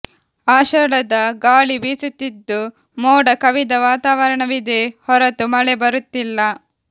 ಆಷಾಢದ ಗಾಳಿ ಬೀಸುತ್ತಿದ್ದು ಮೋಡ ಕವಿದ ವಾತಾವರಣವಿದೆ ಹೊರತು ಮಳೆ ಬರುತ್ತಿಲ್ಲ